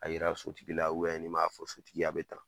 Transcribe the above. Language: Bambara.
A yira sotigila nin m'a fɔ sotigiye a bɛ tan.